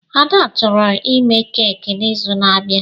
Ads chọrọ ime keki n'izu na-abịa.